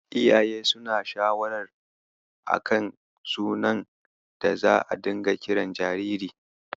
Iyaye suna yin shawarar a kan sunan da za'a dinga kiran jariri.